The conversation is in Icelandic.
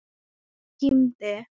Hún kímdi.